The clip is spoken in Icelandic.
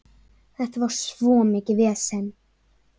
Þetta var svo mikið vesen.